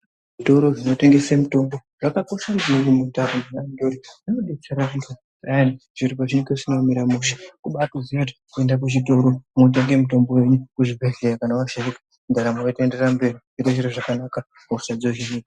Zvitoro zvinotengesa mitombo zvakakosha maningi muntaraunda ngekuti zvinodetsera antu zviro zvisina kumira mushe kubatoziya kuti kuenda kuchitoro kana kuchibhedhlera washaika mwotenga mutombo yenyu ndaramo yotoenderera mberi hosha yohinika.